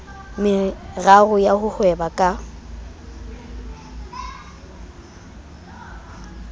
meraro ya ho hweba ka